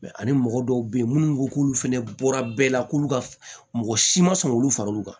ani mɔgɔ dɔw be yen munnu ko k'olu fɛnɛ bɔra bɛɛ la k'olu ka mɔgɔ si ma sɔn k'olu fara olu kan